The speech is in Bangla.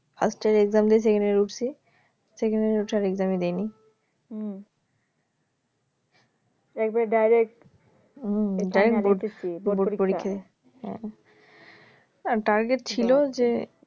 first এর exam দি second year উঠছি second year এ ওঠার exam ই দিনি একেবারে direct পড়তেছি বোর্ড পরীক্ষায় target ছিল যে